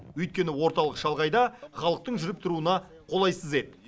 өйткені орталық шалғайда халықтың жүріп тұруына қолайсыз еді